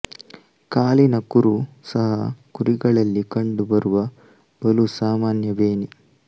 ಕಾಲಿನ ಕುರು ಸಹ ಕುರಿಗಳಲ್ಲಿ ಕಂಡು ಬರುವ ಬಲು ಸಾಮಾನ್ಯ ಬೇನೆ